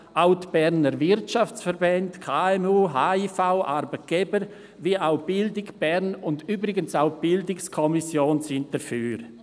Auch die Berner Wirtschaftsverbände, die Berner KMU, der Handels- und Industrieverein (HIV), die Arbeitgeber und Bildung Bern sowie übrigens auch die BiK sind dafür.